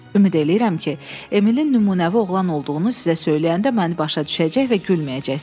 Ümid eləyirəm ki, Emilin nümunəvi oğlan olduğunu sizə söyləyəndə məni başa düşəcək və gülməyəcəksiz.